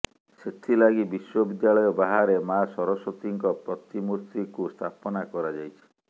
ସେଥିଲାଗି ବିଶ୍ୱବିଦ୍ୟାଳୟ ବାହାରେ ମା ସରସ୍ୱତୀଙ୍କ ପ୍ରତିମୂର୍ତିକୁ ସ୍ଥାପନା କରାଯାଇଛି